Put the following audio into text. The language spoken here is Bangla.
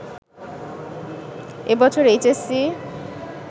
এ বছর এইচএসসি